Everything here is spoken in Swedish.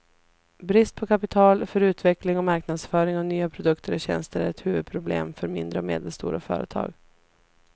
Brist på kapital för utveckling och marknadsföring av nya produkter och tjänster är ett huvudproblem för mindre och medelstora företag.